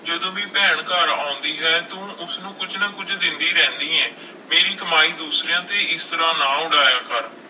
ਜਦੋਂ ਵੀ ਭੈਣ ਘਰ ਆਉਂਦੀ ਹੈ ਤੂੰ ਉਸਨੂੰ ਕੁੱਝ ਨਾ ਕੁੱਝ ਦਿੰਦੀ ਰਹਿਨੀ ਹੈ, ਮੇਰੀ ਕਮਾਈ ਦੂਸਰਿਆਂ ਤੇ ਇਸ ਤਰ੍ਹਾਂ ਨਾ ਉਡਾਇਆ ਕਰ।